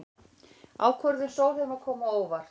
Ákvörðun Sólheima kom á óvart